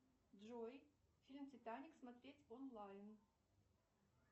джой фильм титаник смотреть онлайн